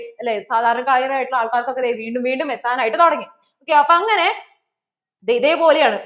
അല്ലേ സാധാരണക്കാർ ആയ ആൾക്കാർക്കു ഓക്കേ ദേ വീണ്ടും വീണ്ടും എത്താൻ ആയിട്ട് തുടങ്ങി see അപ്പോ അങ്ങനെ